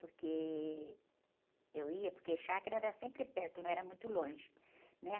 Porque eu ia, porque chácara era sempre perto, não era muito longe, né?